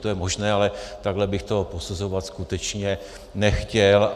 To je možné, ale takhle bych to posuzovat skutečně nechtěl.